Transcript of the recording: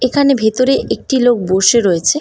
এখানে ভেতরে একটি লোক বসে রয়েছে।